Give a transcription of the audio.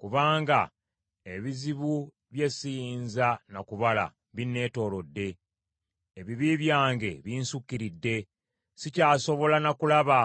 Kubanga ebizibu bye siyinza na kubala binneetoolodde; ebibi byange binsukiridde, sikyasobola na kulaba;